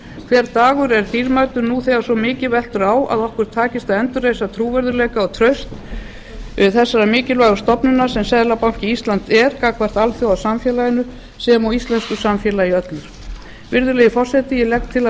hver dagur er dýrmætur nú þegar svo mikið veltur á að okkur takist að endurreisa trúverðugleika og traust þessarar mikilvægu stofnunar sem seðlabanki íslands er gagnvart alþjóðasamfélaginu sem og íslensku samfélagi öllu virðulegi forseti ég legg til að að